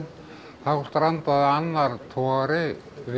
þá strandaði annar togari við